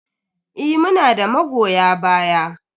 Eh, muna da magoya baya.